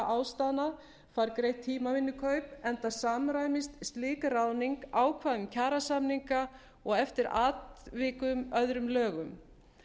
ástæðna fær greitt tímavinnukaup enda samræmist slík ráðning ákvæðum kjarasamninga og eftir atvikum öðrum lögum